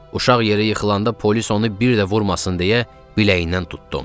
Uşaq yerə yıxılanda polis onu bir də vurmasın deyə biləyindən tutdum.